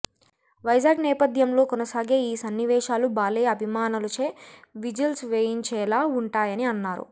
వైజాగ్ నేపథ్యంలో కొనసాగే ఈ సన్నివేశాలు బాలయ్య అభిమానులచే విజిల్స్ వేయించేలా వుంటాయని అన్నారు